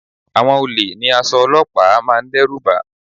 Àwọn olè ní aṣọ olọ́pàá máa ń dẹ́rùbà